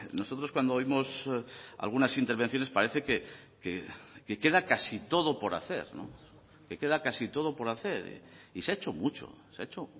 nosotros cuando oímos algunas intervenciones parece que queda casi todo por hacer que queda casi todo por hacer y se ha hecho mucho se ha hecho